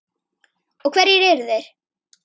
Og hverjir eru þeir?